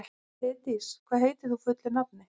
Heiðdís, hvað heitir þú fullu nafni?